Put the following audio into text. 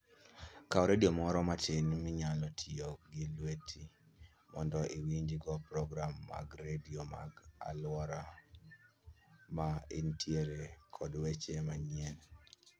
Kaw redio moro matin minyalo ting'o gi lweti mondo iwinjgo program mag redio mag alwora ma intiere kod weche manyien.